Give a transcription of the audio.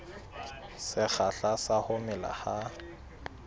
sekgahla sa ho mela ha